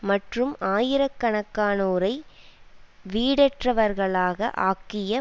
மற்றும் ஆயிர கணக்கானோரை வீடற்றவர்களாக ஆக்கிய